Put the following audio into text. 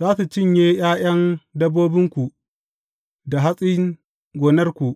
Za su cinye ’ya’yan dabbobinku da hatsin gonarku